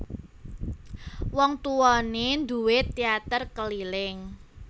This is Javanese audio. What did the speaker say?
Wong tuwané nduwé téater keliling